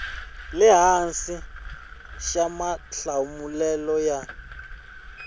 le hansi xa mahlamulelo ya